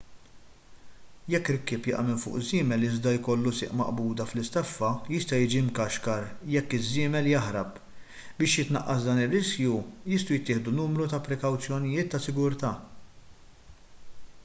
jekk rikkieb jaqa' minn fuq żiemel iżda jkollu sieq maqbuda fl-istaffa jista' jiġi mkaxkar jekk iż-żiemel jaħrab biex jitnaqqas dan ir-riskju jistgħu jittieħdu numru ta' prekawzjonijiet ta' sigurtà